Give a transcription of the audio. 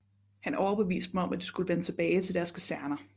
Han overbeviste dem om at de skulle vende tilbage til deres kaserner